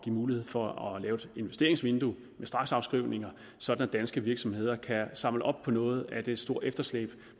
mulighed for at lave et investeringsvindue med straksafskrivninger så de danske virksomheder kan få samlet op på noget af det store efterslæb